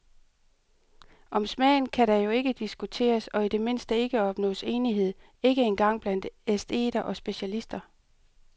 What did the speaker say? Om smagen kan der jo ikke diskuteres og i det mindste ikke opnås enighed, ikke engang blandt æsteter og specialister.